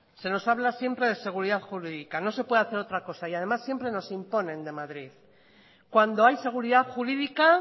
se nos habla siempre de seguridad jurídica no se puede hacer otra cosa y además siempre nos imponen de madrid cuando hay seguridad jurídica